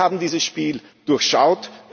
ködert. Wir haben dieses Spiel durchschaut.